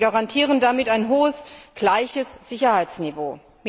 Wir garantieren damit ein hohes, gleiches Sicherheitsniveau.